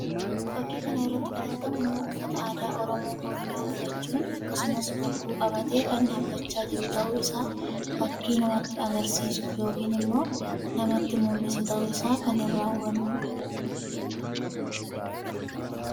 Fakkii kana irratti kan argamu nama uffata aadaa Oromoo Booranaa uffachuun akkkasumas bokkuu qabatee kan dhaabbachaa jiru tahuu isaa fakkii namatti agarsiisu yookiin immoo namatti mullisu tahuu isaa kan iraa hubanuu dha.